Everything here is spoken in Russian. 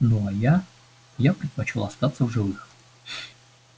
ну а я я предпочёл остаться в живых